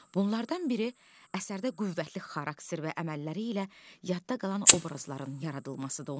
Bunlardan biri əsərdə qüvvətli xarakter və əməlləri ilə yadda qalan obrazların yaradılmasıdır.